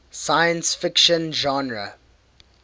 science fiction genre